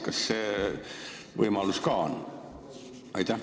Kas see võimalus ka on?